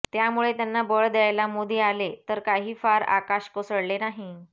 त्यामुळे त्यांना बळ द्यायला मोदी आले तर काही फार आकाश कोसळले नाही